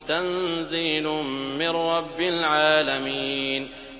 تَنزِيلٌ مِّن رَّبِّ الْعَالَمِينَ